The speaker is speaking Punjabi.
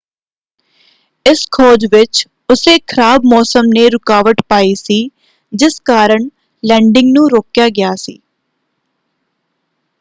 ਇਸ ਖੋਜ ਵਿੱਚ ਉੱਸੇ ਖਰਾਬ ਮੌਸਮ ਨੇ ਰੁਕਾਵਟ ਪਾਈ ਸੀ ਜਿਸ ਕਾਰਨ ਲੈਂਡਿੰਗ ਨੂੰ ਰੋਕਿਆ ਗਿਆ ਸੀ।